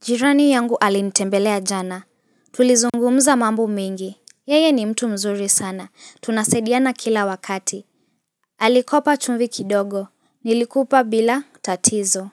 Jirani yangu alinitembelea jana. Tulizungumuza mambo mengi. Yeye ni mtu mzuri sana. Tunasaidiana kila wakati. Alikopa chumvi kidogo. Nilikupa bila tatizo.